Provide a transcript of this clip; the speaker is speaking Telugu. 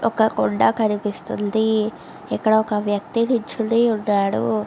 ఒక కొండ కనిపిస్తుంది ఇక్కడ ఒక వ్యక్తి నిలుచోని ఉన్నాడు.